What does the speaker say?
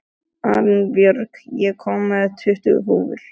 Arinbjörg, ég kom með tuttugu húfur!